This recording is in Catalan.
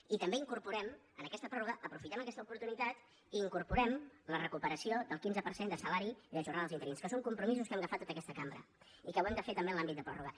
i també incorporem en aquesta pròrroga aprofitem aquesta oportunitat i incorporem la recuperació del quinze per cent de salari i de jornada dels interins que són compromisos que hem agafat tota aquesta cambra i que ho hem de fer també en l’àmbit de pròrroga